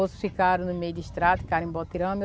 Outros ficaram no meio distrato, ficaram em Botirama.